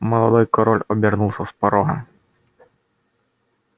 молодой король обернулся с порога